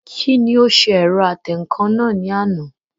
Kí ni ó ṣe ẹ̀rọ atẹǹkan náà ní àná?